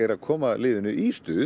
að koma liðinu í stuð